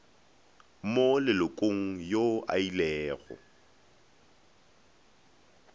mo lelokong yo a ilego